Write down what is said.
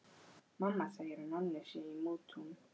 Mamma segir að Nonni sé í mútum.